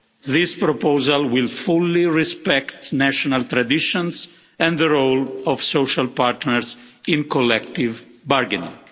This proposal will fully respect national traditions and the role of social partners in collective bargaining.